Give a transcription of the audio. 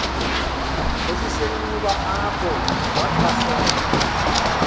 esisenxuba apho wathwasela